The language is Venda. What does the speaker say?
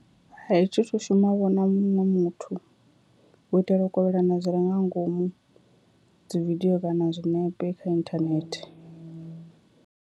Hai, thi thu shuma vho na muṅwe muthu, u itela u kovhelana zwi re nga ngomu dzi video kana zwinepe kha inthanethe.